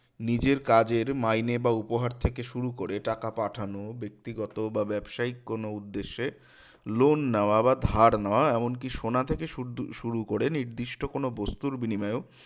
নিজের কাজের মাইনে বা উপহার থেকে শুরু করে টাকা পাঠানো ব্যক্তিগত বা ব্যবসায়িক কোনো উদ্দেশ্যে loan নেওয়া বা ধার নেওয়া এমনকি সোনা থেকে শুরু করে নির্দিষ্ট কোন বস্তুর বিনিময়েও